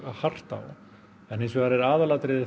hart á en aðalatriðið